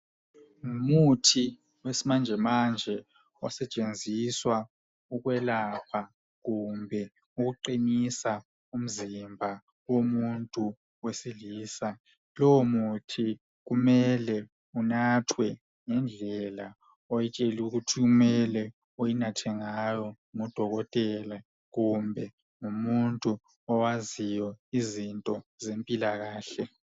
Ngumuthi wesimanjemanje, osetshenziswa ukwelapha kumbe ukuqinisa umzimba womuntu wesilisa, Lowomuthi kumele unathwe ngendlela oyitshelwe ukuthi unathwe ngayo ngudokotela, kumbe ngumuntu owaziyo indlela zempikakahle.